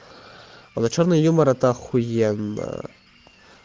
а вот чёрный юмор это ахуенно